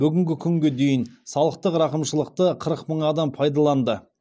бүгінгі күнге дейін салықтық рақымшылықты қырық мың адам пайдаланды